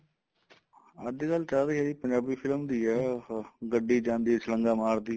ਅੱਜਕਲ ਚੱਲ ਰਹੀ ਏ ਜੀ ਪੰਜਾਬੀ film ਦੀ ਏ ਉਹ ਗੱਡੀ ਜਾਂਦੀ ਛਲਾਂਗਾ ਮਾਰਦੀ